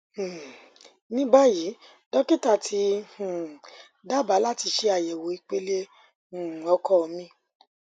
um ní báyìí dókítà ti um dábàá láti ṣe àyẹwò ìpele um ọkọ mi